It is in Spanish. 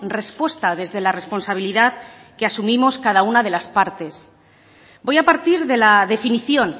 respuesta desde la responsabilidad que asumimos cada una de las partes voy a partir de la definición